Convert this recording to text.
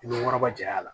I bɛ waraba ja